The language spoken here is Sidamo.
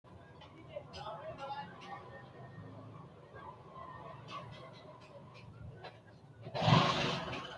ofo'le noo manni mayiira ofo'linoho? tini ofolte noo ooso godo'laano labbannoti mami gobba godo'laanooti? kuri albaanni higge uurrite leeltanno mannooti loosi maati?